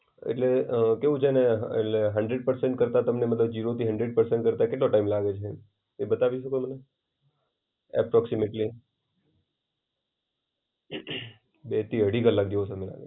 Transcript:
એટલે અ કેવું છે ને એટલે હન્ડ્રેડ પર્સન્ટ કરતા તમને જીરોથી હન્ડ્રેડ પર્સન્ટ કરતા કેટલો ટાઈમ લાગે છે? એ બતાવી શકો મને. approximately બેથી અઢી કલાક જેવું થાય.